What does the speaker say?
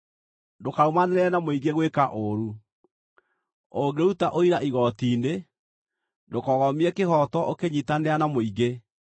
“Ndũkarũmanĩrĩre na mũingĩ gwĩka ũũru. Ũngĩruta ũira igooti-inĩ, ndũkogomie kĩhooto ũkĩnyiitanĩra na mũingĩ,